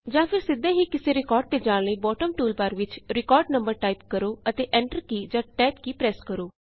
ਜਾਂ ਫੇਰ ਸਿੱਧੇ ਹੀ ਕਿਸੇ ਰਿਕਾਰਡ ਤੇ ਜਾਣ ਲਈ ਬੌਟਮ ਟੂਲਬਾਰ ਵਿਚ ਰਿਕਾਰਡ ਨੰਬਰ ਟਾਇਪ ਕਰੋ ਅਤੇ ਐਨਟਰ ਕੀ ਜਾਂ ਤੇ ਟੈਬ ਕੀ ਪ੍ਰੈੱਸ ਕਰੋ